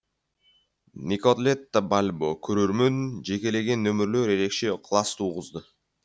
николетта бальбо көрермен жекелеген нөмірлер ерекше ықылас туғызды